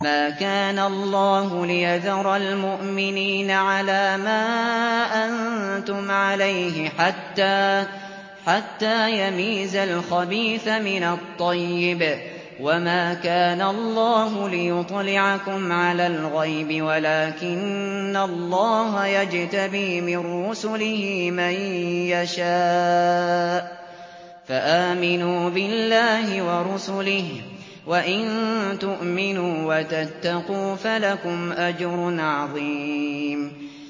مَّا كَانَ اللَّهُ لِيَذَرَ الْمُؤْمِنِينَ عَلَىٰ مَا أَنتُمْ عَلَيْهِ حَتَّىٰ يَمِيزَ الْخَبِيثَ مِنَ الطَّيِّبِ ۗ وَمَا كَانَ اللَّهُ لِيُطْلِعَكُمْ عَلَى الْغَيْبِ وَلَٰكِنَّ اللَّهَ يَجْتَبِي مِن رُّسُلِهِ مَن يَشَاءُ ۖ فَآمِنُوا بِاللَّهِ وَرُسُلِهِ ۚ وَإِن تُؤْمِنُوا وَتَتَّقُوا فَلَكُمْ أَجْرٌ عَظِيمٌ